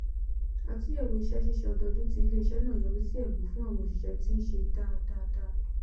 àtúnyẹwò iṣẹ ṣíṣe ọdọọdún ti iléiṣẹ náà yọrísí ẹbù fún àwọon òṣìṣẹ t n ṣe dáadáda